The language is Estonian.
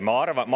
Ma arvan …